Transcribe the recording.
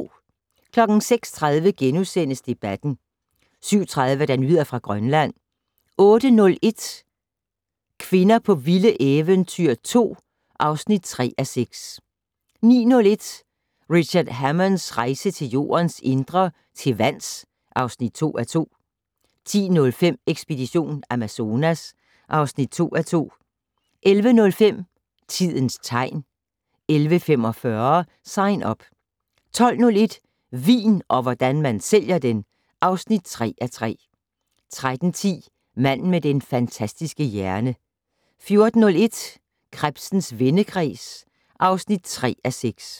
06:30: Debatten * 07:30: Nyheder fra Grønland 08:01: Kvinder på vilde eventyr 2 (3:6) 09:01: Richard Hammonds rejse til jordens indre - til vands (2:2) 10:05: Ekspedition Amazonas (2:2) 11:05: Tidens tegn 11:45: Sign Up 12:01: Vin - og hvordan man sælger den! (3:3) 13:10: Manden med den fantastiske hjerne 14:01: Krebsens vendekreds (3:6)